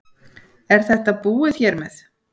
Er þetta búið hér með?